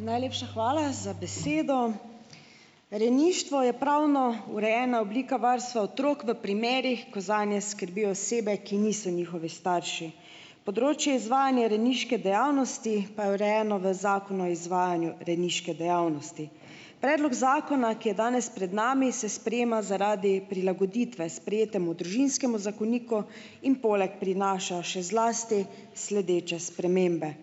Najlepša hvala za besedo. Rejništvo je pravno urejena oblika varstva otrok v primerih, ko zanje skrbijo osebe, ki niso njihovi starši. Področje izvajanja rejniške dejavnosti pa je urejeno v Zakonu o izvajanju rejniške dejavnosti. Predlog zakona, ki je danes pred nami, se sprejema zaradi prilagoditve sprejetemu Družinskemu zakoniku in poleg prinaša še zlasti sledeče spremembe.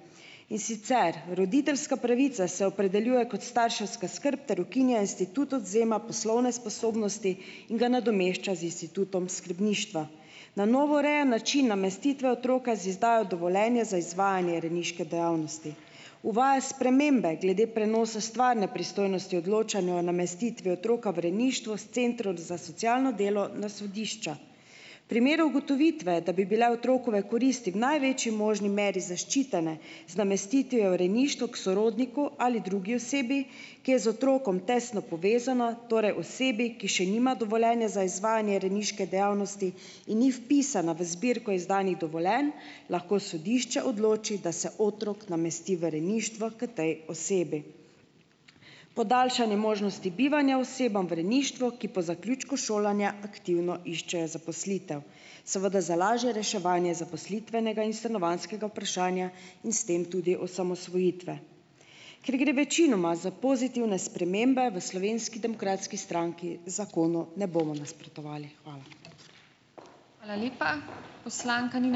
In sicer, roditeljska pravica se opredeljuje kot starševska skrb ter ukinja institut odvzema poslovne sposobnosti in ga nadomešča z institutom skrbništva. Na novo urejen način namestitve otroka z izdajo dovoljenja za izvajanje rejniške dejavnosti. Uvaja spremembe glede prenosa stvarne pristojnosti odločanju o namestitvi otroka v rejništvo s centrom za socialno delo na sodišča. Primeru ugotovitve, da bi bile otrokove koristi v največji možni meri zaščitene z namestitvijo v rejništvo k sorodniku ali drugi osebi, ki je z otrokom tesno povezana, torej osebi, ki še nima dovoljenja za izvajanje rejniške dejavnosti in ni vpisana v zbirko izdanih dovoljenj, lahko sodišče odloči, da se otrok namesti v rejništvo k tej osebi. Podaljšanje možnosti bivanja osebam v rejništvo, ki po zaključku šolanja aktivno iščejo zaposlitev, seveda za lažje reševanje zaposlitvenega in stanovanjskega vprašanja in s tem tudi osamosvojitve. Ker gre večinoma za pozitivne spremembe, v Slovenski demokratski stranki zakonu ne bomo nasprotovali. Hvala. Hvala lepa . Poslanka Nina ...